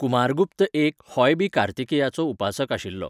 कुमारगुप्त एक होय बी कार्तिकेयाचो उपासक आशिल्लो.